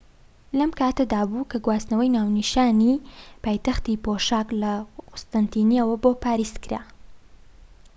لەم کاتەدابوو کە گواستنەوەی ناونیشانی پایتەختی پۆشاك لە قوستەنتینیەوە بۆ پاریس کرا